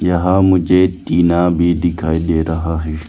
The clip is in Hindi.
यहां मुझे टीना भी दिखाई दे रहा है।